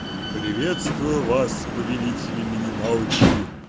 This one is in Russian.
приветствую вас повелители минималочки